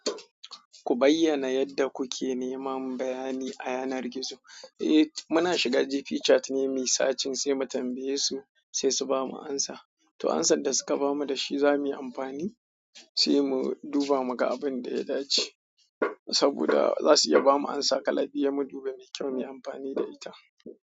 Ku bayyana yadda kuke neman bayani a yanar gizo. Eh muna shiga GP chat ne muyi sacin sai mu tambaye su sai su bamu amsa. To amsar da suka bamu da shi za muyi amfani, sai mu duba muga abin da ya dace. Saboda za su iya bamu amsa kala biyu mu duba me kyau mu yi amfani da ita.